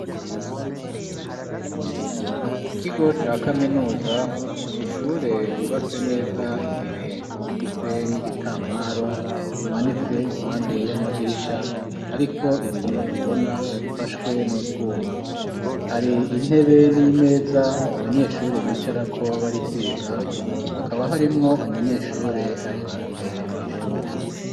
Mu kigo ca kaminuza n'ishure ryubatse neza imbere rifise n'igitambaro kimanitse impande y'amadirisha ariko ibiyo bibona bifashwe n'utwuma hari intebe n'imeza abanyeshuri bicarako bariko bariga hakaba harimwo umunyeshure ari imbere mw'ishure.